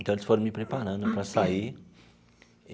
Então, eles foram me preparando para sair.